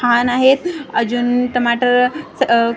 छान आहेत अजून टमाटर आह--